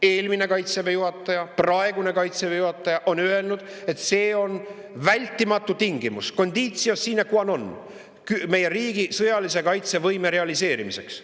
Eelmine Kaitseväe juhataja ja ka praegune Kaitseväe juhataja on öelnud, et see on vältimatu tingimus – conditio sine qua non – meie riigi sõjalise kaitsevõime realiseerimiseks.